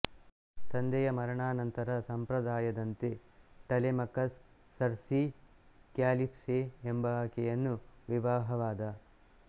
ತಂದೆಯ ಮರಣಾನಂತರ ಸಂಪ್ರದಾಯದಂತೆ ಟಲೆಮಕಸ್ ಸರ್ಸಿ ಕ್ಯಾಲಿಪ್ಯೆ ಎಂಬಾಕೆಯನ್ನು ವಿವಾಹವಾದ